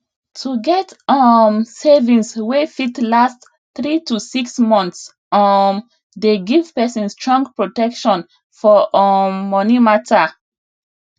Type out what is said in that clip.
to get um savings wey fit last 3 to 6 months um dey give person strong protection for um money matter